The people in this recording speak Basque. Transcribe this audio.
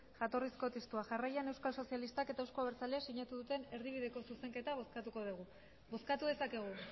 jatorrizko testua jarraian eusko sozialistak eta euzko abertzaleak sinatu duten erdibideko zuzenketa bozkatuko dugu bozkatu dezakegu